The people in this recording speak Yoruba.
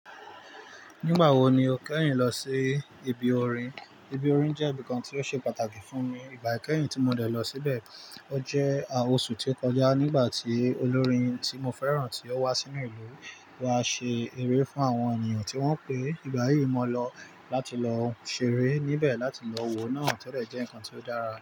Nígbà wo ni o kẹ́hìn lọ sí ibi orin? Ibi orin jẹ́ ibi kan tí ó ṣe pàtàkì fún mi. Ìgbà kẹ́hìn tí mo dẹ̀ lọ síbẹ̀, ó jẹ́ oṣù tí ó kọjá nígbà tí olórin tí mo fẹ́ràn tí ó wá sínú ìlú, wà ṣe eré fún àwọn ènìyàn tí wọ́n pè. Ìgbà yìí mo lọ láti lọ ṣeré níbẹ̀ láti lọ wo náà tẹ́lẹ̀ jẹ́ ǹkan tí ó dára.